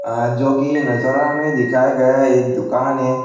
हां जो कि नजारा में दिखया गया एक दुकान है।